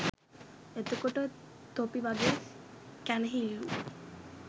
එතකොට තොපි වගේ කැනහිල්ලු